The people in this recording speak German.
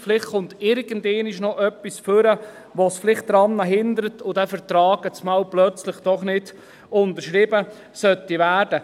Vielleicht kommt irgendwann einmal noch etwas heraus, das hinderlich ist, und dieser Vertrag soll plötzlich doch nicht unterschrieben werden.